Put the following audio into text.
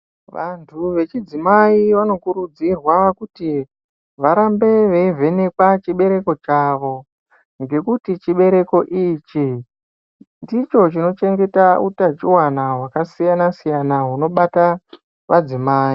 Vantu vechidzimai vanokurudzirwa kuti varambe veivhenekwa chibereko chavo. Ngekuti chibereko ichi ndicho chinochengeta utachivana hwakasiyana-siyana hunobata madzimai.